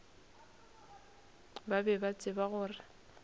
ba be ba tseba gore